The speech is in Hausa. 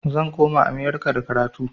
Zan koma amurka da karatu